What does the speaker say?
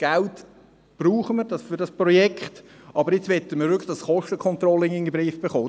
Wir brauchen das Geld für dieses Projekt, aber jetzt möchten wir wirklich das Kostencontrolling in den Griff bekommen.